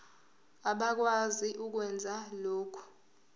abakwazi ukwenza lokhu